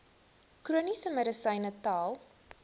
chroniese medisyne tel